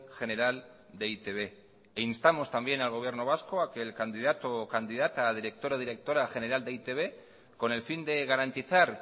general de e i te be e instamos también al gobierno vasco a que el candidato o candidata a director o directora general de e i te be con el fin de garantizar